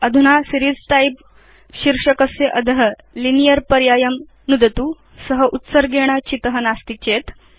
अधुना series type शीर्षकस्य अध लिनियर् पर्यायं नुदतु स उत्सर्गेण चित नास्ति चेत्